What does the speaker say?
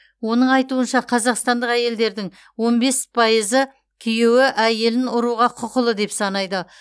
оның айтуынша қазақстандық әйелдердің он бес пайызы күйеуі әйелін ұруға құқылы деп санайды